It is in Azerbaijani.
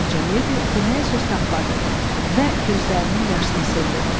Qoca ledi deməyə söz tapmadı və gözlərinin yaşını sildi.